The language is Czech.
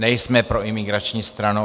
Nejsme proimigrační stranou.